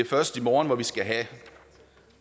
først i morgen at vi skal have